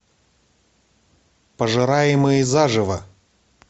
пожираемые заживо